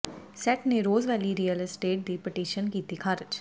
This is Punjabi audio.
ਸੈਟ ਨੇ ਰੋਜ਼ ਵੈਲੀ ਰੀਅਲ ਅਸਟੇਟ ਦੀ ਪਟੀਸ਼ਨ ਕੀਤੀ ਖ਼ਾਰਜ